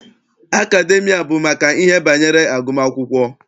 Akademịa bụ maka ihe banyere agụmakwụkwọ.